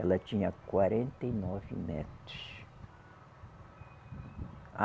Ela tinha quarenta e nove metros.